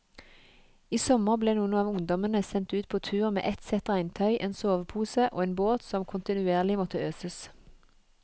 I sommer ble noen av ungdommene sendt ut på tur med ett sett regntøy, en sovepose og en båt som kontinuerlig måtte øses.